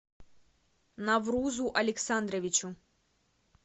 наврузу александровичу